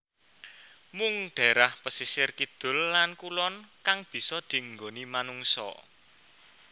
Mung dhaerah pesisir kidul lan kulon kang bisa dienggoni manungsa